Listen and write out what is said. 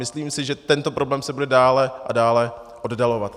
Myslím si, že tento problém se bude dále a dále oddalovat.